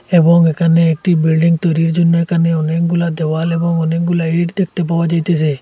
এবং এখানে একটি বিল্ডিং তৈরির জন্য একানে অনেকগুলা দেওয়াল এবং অনেকগুলা ইট দেখতে পাওয়া যাইতেসে।